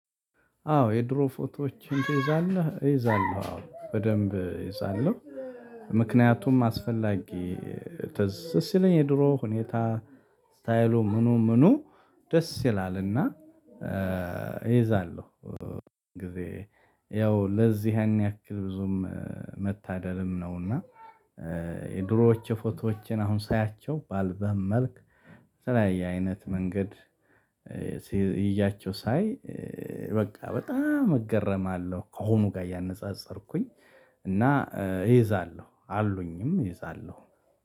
አዎ የድሮ ፎቶዎች ትይዛለህ እይዛለሁ አዎ በደንብ እይዛለሁ። ምክንያቱም አስፈላጊ ትዝ ስለኝ የድሮ ሁኔታ ስታይሉ ምኑ ምኑ? ደስ ይላልና። እይዛለሁ። ጊዜ ያው ለዚህ ያን ያክል ብዙም መታደልም ነውና። የድሮዎች የፎቶዎችን አሁን ሳያቸው ባልበም በመልክ ተለያየ አይነት መንገድ። ይዣቸው ሳይ በቃ በጣም እገረማለሁ። ከሆኑ ጋር እያነጻጸርኩኝ። እና እይዛለሁ አሉኝም እይዛለሁ።